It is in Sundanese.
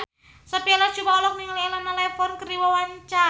Sophia Latjuba olohok ningali Elena Levon keur diwawancara